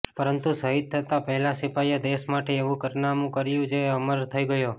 પરંતુ શહીદ થતા પહેલા સિપાઈએ દેશ માટે એવું કારનામું કર્યું જે અમર થઇ ગયો